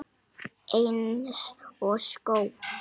Eins og skó.